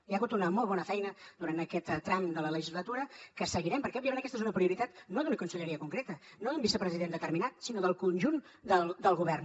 hi ha hagut una molt bona feina durant aquest tram de la legislatura que seguirem perquè òbviament aquesta és una prioritat no d’una conselleria concreta no d’un vicepresident determinat sinó del conjunt del govern